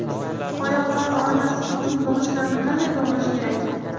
Oyoqlar og‘rimasligi uchun bog‘ichlarni qanday bog‘lash kerak?.